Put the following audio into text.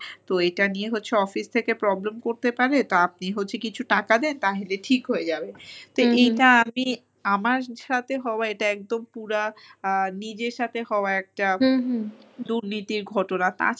তো এটা নিয়ে হচ্ছে office থেকে problem করতে পারে। তো আপনি হচ্ছে কিছু টাকা দেন তাহিলে ঠিক হয়ে যাবে। তো এটা আমি আমার সাথে হওয়া এটা একদম পুরা আ নিজের সাথে হওয়া একটা দুর্নীতির ঘটনা।